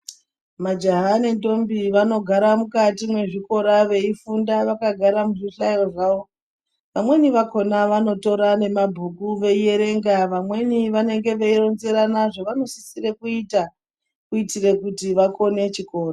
Majaha nendombi vanogara mukati mezvikora veyifunda vakagara muzvihlayo zvavo. Amweni vakhona vanotora nemabhuku veyiyerenga. Vamweni vanenge veyironzerana zvavanosisire kuyita, kuyitire kuti vakone chikora.